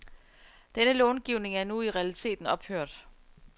Denne långivning er nu i realiteten ophørt.